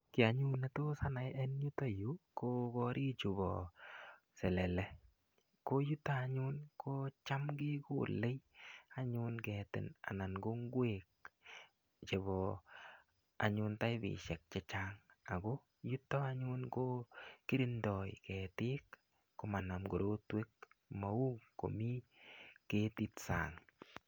Ki anyun ne tos anai en yutayu ko korichu pa selele. Ko yuto anyun ko cham kekole anyun ketin anan ko ngwek chepo anyun taipishek che chang. Ako yuto anyun ko kirindai ketik ko manam korotwek, mau komi ketit sang'.